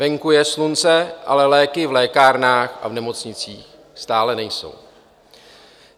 Venku je slunce, ale léky v lékárnách a v nemocnicích stále nejsou.